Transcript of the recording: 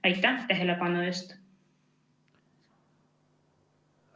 Aitäh tähelepanu eest!